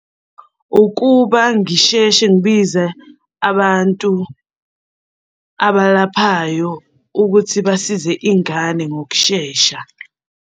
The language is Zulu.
Ukuba ngisheshe ngibize abantu abalaphayo ukuthi basize ingane ngokushesha.